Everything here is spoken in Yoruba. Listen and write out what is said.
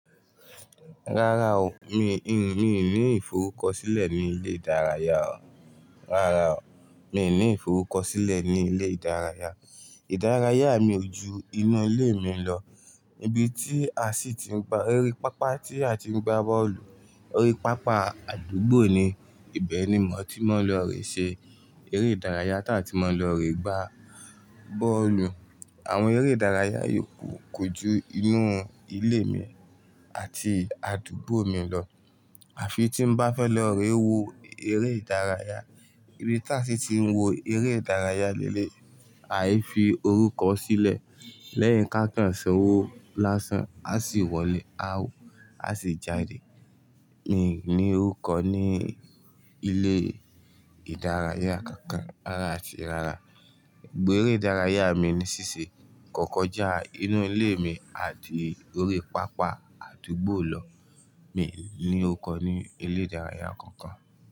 Rárá o, mi ní ìforúkọ sílẹ̀ ní ilé ìdárayá o. Rárá o, mi ì ní ìforúkọ sílẹ̀ ní ilé ìdárayá. Ìdárayá mi o ju inu ilé mi lọ. Ibi tí a sì ti ń gba, eré pápá tí a ti ń gba bọ́ọ̀lù. Eré pápá àdúgbò ni ìbẹni mọ tí mo lọ re se eré ìdárayá ta n tí mo lọ re gba bọ́ọ̀lù. Àwọn eré ìdárayá yòókù kọ jú inú ilé mi àti àdúgbò mi lọ. Àfi tí n bá fẹ́ lọ re wo eré ìdárayá. Ibi tí a sì ti ń wo eré ìdárayá léleyi, aifi orúkọ sílẹ̀. Lẹ́yìn ká kan sanwò lásán, a sì wọlé a wò, a sì jáde. Mi ì ní orúkọ ní ilé ìdárayá kankan rárá àti rárá. Gbogbo eré ìdárayá mi ní ṣíṣe kọ̀kọ́ já inú ilé mi àti ori pápá àdúgbò lọ. Mi ì ní orúkọ ní ilé ìdárayá kankan.